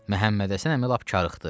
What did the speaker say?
Məhəmmədhəsən əmi lap karıxdı.